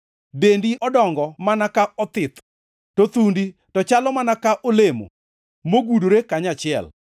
Dendi odongo mana ka othith, to thundi to chalo mana ka olemo, mogudore kanyachiel.